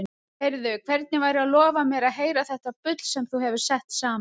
Heyrðu, hvernig væri að lofa mér að heyra þetta bull sem þú hefur sett saman?